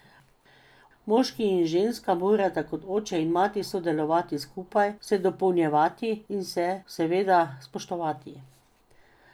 Moški in ženska morata kot oče in mati sodelovati skupaj, se dopolnjevati in se seveda spoštovati.